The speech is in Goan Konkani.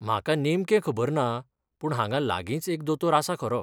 म्हाका नेमकें खबर ना, पूण हांगा लागींच एक दोतोर आसा खरो.